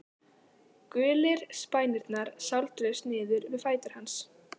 Gulir spænirnir sáldruðust niður við fætur hans.